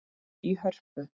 í Hörpu.